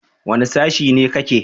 Wane sashi ne ka ke?